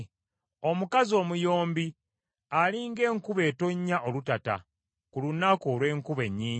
Omukazi omuyombi ali ng’enkuba etonnya olutata, ku lunaku olw’enkuba ennyingi.